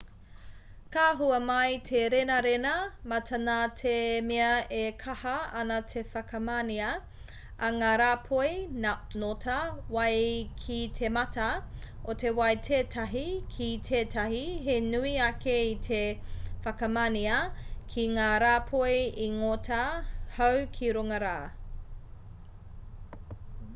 ka hua mai te renarena mata nā te mea e kaha ana te whakamanea a ngā rāpoi ngota wai ki te mata o te wai tētahi ki tētahi he nui ake i te whakamanea ki ngā rāpoi ngota hau ki runga rā